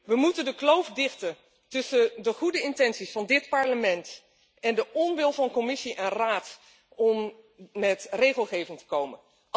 We moeten de kloof dichten tussen de goede intenties van dit Parlement en de onwil van Commissie en Raad om met regelgeving te komen.